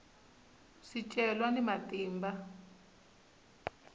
swicelwa ni matimba